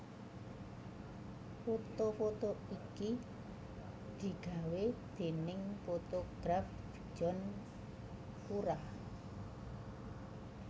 Foto foto iki digawé déning fotograf John Cura